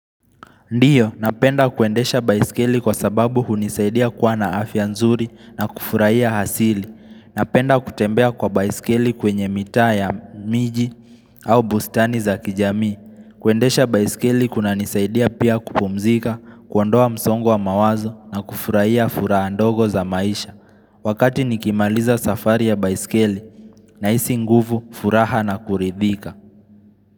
Ndiyo, napenda kuendesha baiskeli kwa sababu hunisaidia kuwa na afia nzuri na kufurahia hasili. Napenda kutembea kwa baiskeli kwenye mitaa ya miji au bustani za kijami. Kuendesha baiskeli kuna nisaidia pia kupumzika, kuondoa msongo mawazo na kufurahia fura ndogo za maisha. Wakati nikimaliza safari ya baiskeli na isi nguvu furaha na kuridhika.